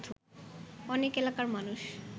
অনেক এলাকার মানুষ